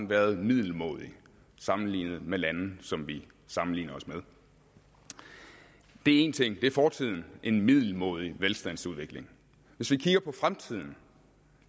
været middelmådig sammenlignet med lande som vi sammenligner os med det er én ting det er fortiden en middelmådig velstandsudvikling hvis vi kigger på fremtiden